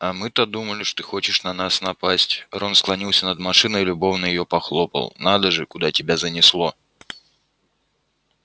а мы-то думали ты хочешь на нас напасть рон склонился над машиной и любовно её похлопал надо же куда тебя занесло